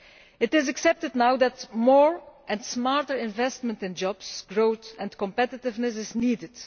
It is accepted now that more and smarter investment in jobs, growth and competitiveness is needed.